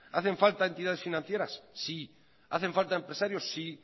hacen falta entidades financieras sí hacen falta empresarios sí